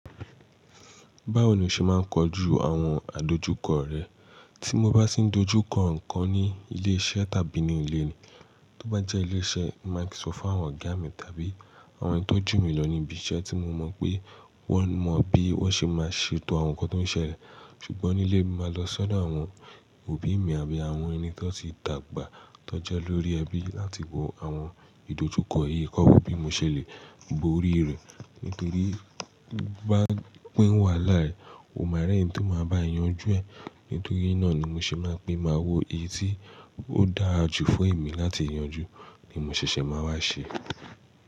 Báwo ni o ṣe máa ń kojú àwọn àdojúkọ rẹ? Tí mo bá tì ń dojú kọ ǹkan ní ilé iṣẹ́ tàbí ní ilé ni, tó bá jẹ́ ilé iṣẹ́, màá kí sọ fún àwọn ọ̀gá mi tàbí àwọn tó jù mí lọ ní ibi iṣẹ́ tí mo mọ̀ pé wọ́n mọ bí wọ́n ṣe máa ṣe ètò àwọn ǹkan tó ń ṣẹlẹ̀. Ṣùgbọ́n nílé mi, màá lọ sọ odo àwọn òbí mi àbí àwọn ẹni tó ti dàgbà tó jẹ́ lórí ẹbí láti wo àwọn ìdojúkọ yìí. Kọ́ wo bí mo ṣẹlẹ̀, bo orí rẹ̀. Nítorí bá pín wàhálà rẹ̀, o máa rí ẹni tí ó máa báa yanjú ẹ. Nítorí náà ni mo ṣe máa ń pín, màá wo eyi tí ó dáa jù fún èmi láti yanjú ni mo ṣẹ̀ṣẹ̀ máa wá ṣe.